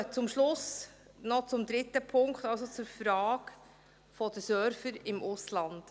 Ich komme zum Schluss noch zum dritten Punkt, also zur Frage der Server im Ausland.